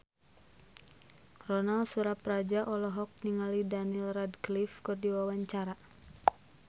Ronal Surapradja olohok ningali Daniel Radcliffe keur diwawancara